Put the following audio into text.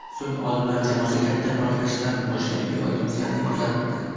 Shunda so‘ng olimlar jamoasi Katta portlashdan boshlab evolyutsiyani kuzatdi.